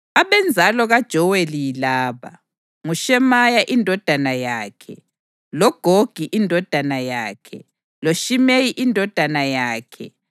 Abenzalo kaJoweli yilaba: nguShemaya indodana yakhe, loGogi indodana yakhe, loShimeyi indodana yakhe,